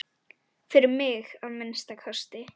Fyrir mig, að minnsta kosti.